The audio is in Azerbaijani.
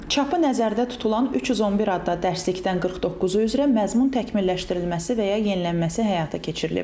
Çapı nəzərdə tutulan 311 adda dərslikdən 49-u üzrə məzmun təkmilləşdirilməsi və ya yenilənməsi həyata keçirilib.